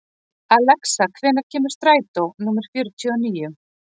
Alexa, hvenær kemur strætó númer fjörutíu og níu?